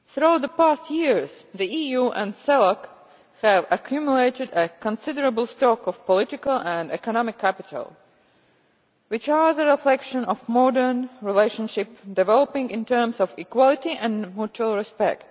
Over the last few years, the EU and CELAC have accumulated a considerable stock of political and economic capital, which is the reflection of a modern relationship developing in terms of equality and mutual respect.